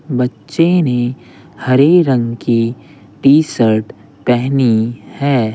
बच्चे ने हरे रंग की टी_शर्ट पहनी है।